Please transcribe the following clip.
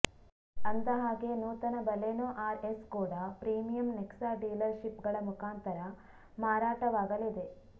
ಅಂದ ಹಾಗೆ ನೂತನ ಬಲೆನೊ ಆರ್ ಎಸ್ ಕೂಡಾ ಪ್ರೀಮಿಯಂ ನೆಕ್ಸಾ ಡೀಲರ್ ಶಿಪ್ ಗಳ ಮುಖಾಂತರ ಮಾರಾಟವಾಗಲಿದೆ